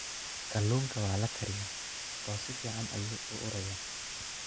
Kalluunka waa la kariyaa oo si fiican ayuu u urayaa.